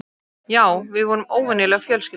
Já, við vorum óvenjuleg fjölskylda.